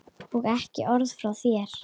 Og ekki orð frá þér!